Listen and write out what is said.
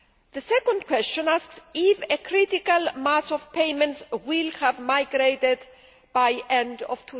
The second question asks if a critical mass of payments will have migrated by the end of